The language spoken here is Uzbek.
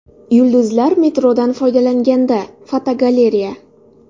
Yulduzlar metrodan foydalanganda (fotogalereya).